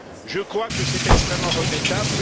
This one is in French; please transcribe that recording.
je crois que c'est extrêmement regrettable.